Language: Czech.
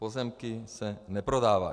Pozemky se neprodávají.